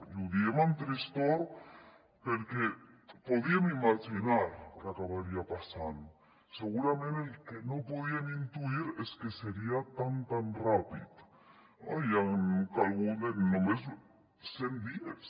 i ho diem amb tristor perquè podíem imaginar que acabaria passant segurament el que no podíem intuir és que seria tan tan ràpid no i han calgut només cent dies